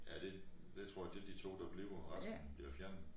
Ja det det tror jeg det de 2 der bliver resten bliver fjernet